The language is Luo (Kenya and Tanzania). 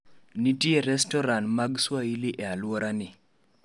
Nitie restorat mag Swahili e alworani